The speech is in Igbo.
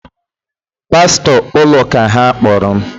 Pastor ụlọụka ha kpọrọ m